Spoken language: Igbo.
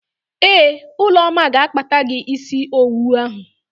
Ee, Ụlọma ga-akpata gị ísí owu ahụ.